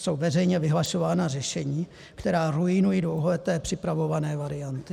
Jsou veřejně vyhlašována řešení, která ruinují dlouholeté připravované varianty.